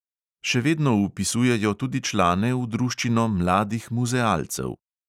Še vedno vpisujejo tudi člane v druščino mladih muzealcev.